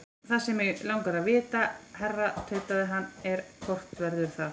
Það sem mig langar að vita, herra tautaði hann, er, hvort verður það?